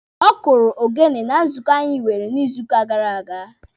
Ọ kụrụ ogene na nzukọ anyị nwere n'izuuka gara aga.